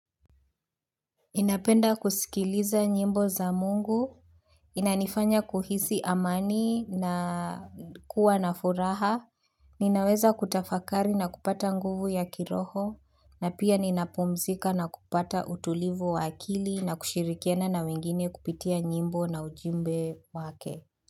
Ninapenda kusikiliza nyimbo za Mungu, inanifanya kuhisi amani na kuwa na furaha, ninaweza kutafakari na kupata nguvu ya kiroho, na pia ninapumzika na kupata utulivu wa akili na kushirikiana na wengine kupitia nyimbo na ujumbe wake.